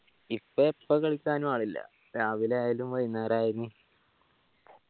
ഇപ്പൊ എപ്പ കളിക്കാനും ആളില്ല രാവില ആയാലും വൈന്നേരായാലും